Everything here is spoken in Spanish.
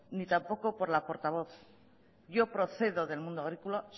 ni tampoco por la portavoz yo procedo del mundo agrícola